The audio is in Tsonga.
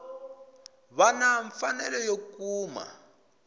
va na mfanelo yo kuma